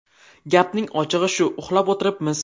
Gapning ochig‘i shu: uxlab o‘tiribmiz.